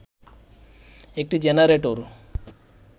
একটি জেনারেটর